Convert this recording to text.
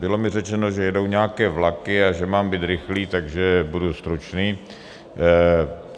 Bylo mi řečeno, že jedou nějaké vlaky a že mám být rychlý, takže budu stručný.